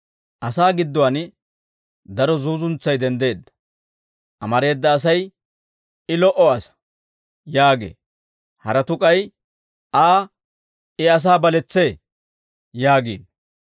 Asaa gidduwaan daro zuuzuntsay denddeedda. Amareeda asay, «I lo"o asaa» yaagee; haratuu k'ay, «Aa, I asaa baletsee» yaagiino.